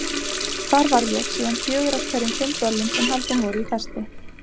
Það var ég síðan fjögur af hverjum fimm böllum sem haldin voru í Festi.